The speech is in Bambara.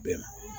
Bɛn